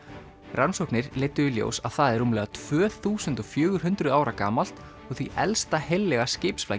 rannsóknir leiddu í ljós að það er rúmlega tvö þúsund og fjögur hundruð ára gamalt og því elsta heillega